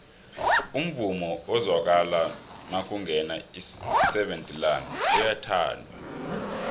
umvumo ozwakala nakungena iseven delaan uyathandwa